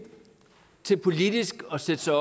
til politisk at sætte sig